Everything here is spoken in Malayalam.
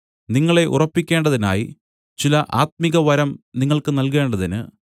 നിങ്ങളെ ഉറപ്പിക്കേണ്ടതിനായി ചില ആത്മികവരം നിങ്ങൾക്ക് നല്കേണ്ടതിന്